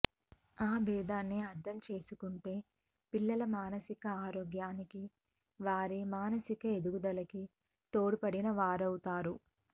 ఆ బేధాన్ని అర్థం చేసుకుంటే పిల్లల మానసిక ఆరోగ్యానికి వారి మానసిక ఎదుగుదలకి తోడ్పడిన వారవుతారు